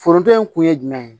Foronto in kun ye jumɛn ye